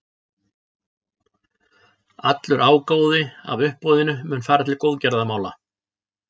Allur ágóði af uppboðinu mun fara til góðgerðamála.